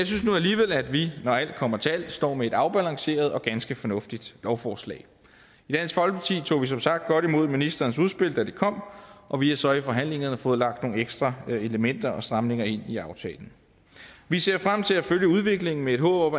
synes nu alligevel at vi når alt kommer til alt står med et afbalanceret og ganske fornuftigt lovforslag i dansk folkeparti tog vi som sagt godt imod ministerens udspil da det kom og vi har så i forhandlingerne fået lagt nogle ekstra elementer og stramninger ind i aftalen vi ser frem til at følge udviklingen med et håb